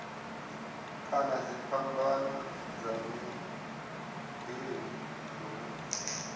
kana dziphambano dza miḓini hune